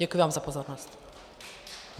Děkuji vám za pozornost.